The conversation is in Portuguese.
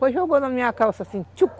Foi e jogou na minha calça assim, tchuc!